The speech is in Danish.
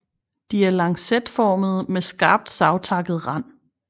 De er lancetformede med skarpt savtakket rand